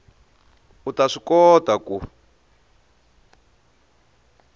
u ta swi kota ku